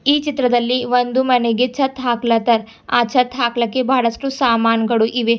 ಈ ಚಿತ್ರದಲ್ಲಿ ಒಂದು ಮನೆಗೆ ಛತ್ ಹಾಕ್ಲತ್ತಾರ ಆ ಛತ್ ಹಾಕಲಕ್ಕೆ ಬಹಳಷ್ಟು ಸಾಮಾನ್ ಗಳು ಇವೆ.